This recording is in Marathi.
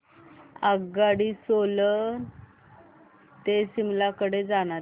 आगगाडी सोलन ते शिमला कडे जाणारी